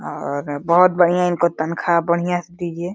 और बोहोत बढ़ियां इनको तन्खा बढ़ियां से दीजिये।